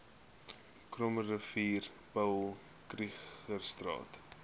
krommerivier paul krugerstraat